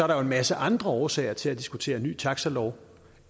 der jo en masse andre årsager til at diskutere ny taxalov